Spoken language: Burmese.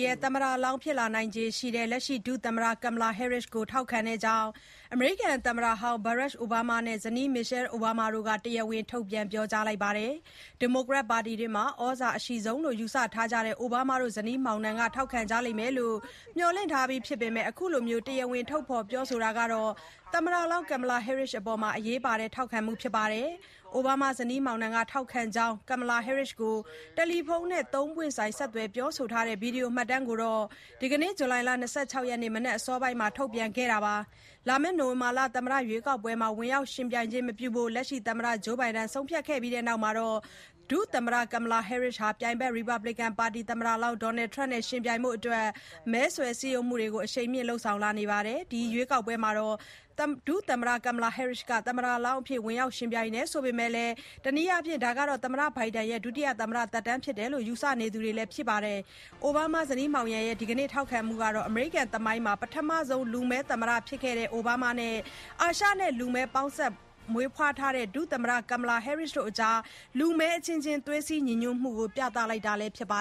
ရဲ့ သမ္မတလောင်းဖြစ်လာနိုင်ခြေရှိသူ လက်ရှိ ဒုသမ္မတကမ်မလာဟဲရစ်စ် (Kamala Harris) ကို ထောက်ခံကြောင်း အမေရိကန်သမ္မတဟောင်း ဘာရက် အိုဘားမား (Barack Obama) နဲ့ ဇနီး မီရှယ်အိုဘားမား (Michelle Obama) တို့က တရားဝင် ထုတ်ပြန် ပြောကြားလိုက်ကြပါတယ်။ ဒီမိုကရက်ပါတီတွင်းမှာ ဩဇာအရှိဆုံးလို့ ယူဆထားကြတဲ့ အိုဘားမားတို့ ဇနီးမောင်နှံက ထောက်ခံကြလိမ့်မယ်လို့ မျှော်လင့်ထားပြီးဖြစ်ပေမယ့် အခုလို တရားဝင် ထုတ်ဖော် ပြောဆိုတာဟာ သမ္မတလောင်း ကမ်မလာဟဲရစ်စ် (Kamala Harris) အတွက် အရေးပါတဲ့ ထောက်ခံမှု ဖြစ်ပါတယ်။ အိုဘားမားဇနီးမောင်က ထောက်ခံကြောင်း ကမ်မလာဟဲရစ်စ်ကို တယ်လီဖုန်းနဲ့ ၃ ပွင့်ဆိုင် ဆက်သွယ် ပြောဆိုထားတဲ့ ဗွီဒီယိုမှတ်တမ်းကို ဒီကနေ့ ဇူလိုင်လ ၂၆ ရက်နေ့ မနက်အစောပိုင်းမှာ ထုတ်ပြန်ခဲ့တာပါ။ လာမယ့် နိုဝင်ဘာ သမ္မတ ရွေးကောက်ပွဲမှာ ဝင်ရောက်ယှဉ်ပြိုင်ခြင်းမပြုဖို့ သမ္မတ ဂျိုးဘိုင်ဒန် (Joe Biden) က ဆုံးဖြတ်ခဲ့ပြီးတဲ့နောက် ဒုသမ္မတကမ်မလာဟဲရစ်စ်ဟာ ပြိုင်ဘက် ရီပတ်ဘလီကန်ပါတီ သမ္မတလောင်း ဒေါ်နယ်ထရမ့် (Donald Trump) နဲ့ ယှဉ်ပြိုင်ဖို့အတွက် မဲဆွယ်စည်းရုံးမှုတွေကို အရှိန်မြင့် လုပ်ဆောင်လာနေပါတယ်။ ဒီရွေးကောက်ပွဲမှာ ဒုသမ္မတကမ်မလာဟဲရစ်စ်က သမ္မတလောင်းအဖြစ် ဝင်ရောက် ယှဉ်ပြိုင်တယ်ဆိုပေမယ့်လည်း တနည်းအားဖြင့် ဒါဟာ သမ္မတဘိုင်ဒန်ရဲ့ ဒုတိယသမ္မတသက်တမ်းဖြစ်တယ်လို့ ယူဆနေသူတွေလည်း ရှိပါတယ်။ အိုဘားမားဇနီးမောင်ရဲ့ ဒီကနေ့ ထောက်ခံမှုဟာ အမေရိကန်သမိုင်းမှာ ပထမဆုံး လူမည်းသမ္မတ ဖြစ်ခဲ့တဲ့ အိုဘားမားတို့နဲ့ အာရှနဲ့ လူမည်းပေါင်းစပ် မွေးဖွားလာတဲ့ ဒုသမ္မတကမ်မလာဟဲရစ်စ်အကြား လူမည်းအချင်းချင်း သွေးစည်း ညီညွတ်မှုကို ပြသလိုက်တာလည်း ဖြစ်ပါ